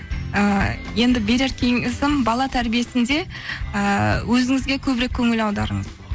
і енді берер кеңесім бала тәрбиесінде ііі өзіңізге көбірек көңіл аударыңыз